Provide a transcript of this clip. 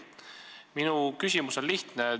Minu küsimus on lihtne.